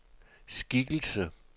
skikkelse